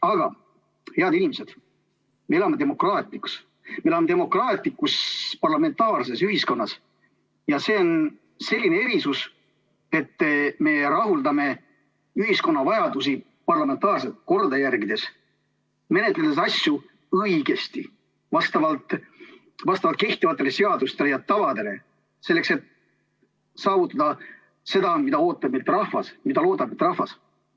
Aga, head inimesed, me elame demokraatias, me elame demokraatlikus parlamentaarses ühiskonnas ja see on selline erisus, et me rahuldame ühiskonna vajadusi parlamentaarset korda järgides, menetledes asju õigesti, vastavalt kehtivatele seadustele ja tavadele, selleks et saavutada seda, mida ootab meilt rahvas, mida loodab meilt rahvas.